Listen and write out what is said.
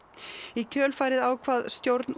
í kjölfarið ákvað stjórn